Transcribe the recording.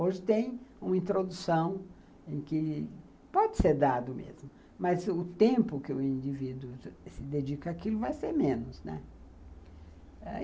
Hoje tem uma introdução em que pode ser dado mesmo, mas o tempo que o indivíduo se dedica àquilo vai ser menos, né.